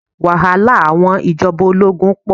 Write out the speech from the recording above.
Wàhálà àwọn ìjọba ológun pọ̀.